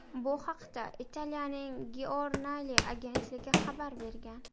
Bu haqda Italiyaning Giornale agentligi xabar bergan .